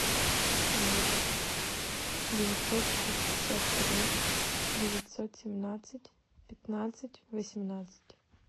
ноль девятьсот шестьдесят три девятьсот семнадцать пятнадцать восемнадцать